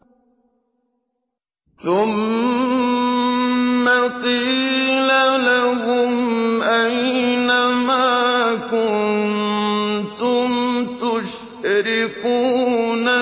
ثُمَّ قِيلَ لَهُمْ أَيْنَ مَا كُنتُمْ تُشْرِكُونَ